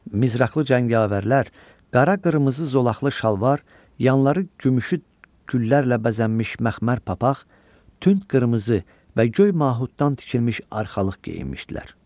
Mizraqlı cəngavərlər qara-qırmızı zolaqlı şalvar, yanları gümüşü güllərlə bəzənmiş məxmər papaq, tünd qırmızı və göy mahuddan tikilmiş arxalıq geyinmişdilər.